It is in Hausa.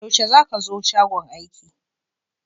Yaushe za ka zo shagon aiki?